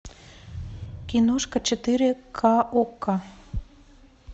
киношка четыре ка окко